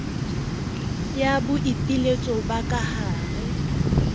ya boipiletso ba ka hare